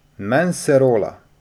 Men se rola.